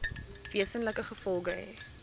wesenlike gevolge hê